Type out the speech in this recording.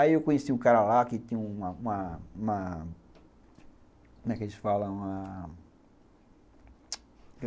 Aí eu conheci um cara lá que tinha uma uma uma como é que eles falam? uma...